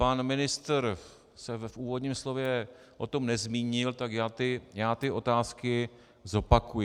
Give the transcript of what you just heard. Pan ministr se v úvodním slově o tom nezmínil, tak já ty otázky zopakuji.